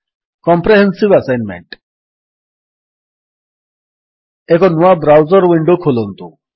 comprehensive assignment ଏକ ନୂଆ browser window ଖୋଲନ୍ତୁ